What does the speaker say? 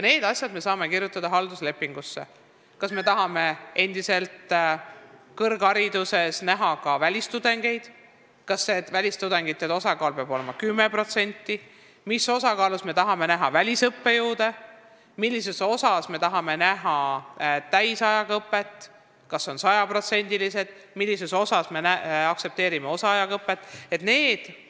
Me saame halduslepingusse kirjutada kõik need asjad – kas me tahame kõrghariduses endiselt näha ka välistudengeid, kas nende osakaal peab olema 10%, kui palju me soovime välisõppejõude, kui suures osas me tahame näha täisajaga õpet, kas see on 100%, kuivõrd me aktsepteerime osaajaga õpet jne.